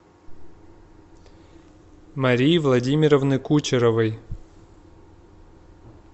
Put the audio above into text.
марии владимировны кучеровой